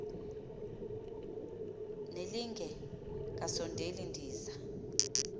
nelinge kasondeli ndiza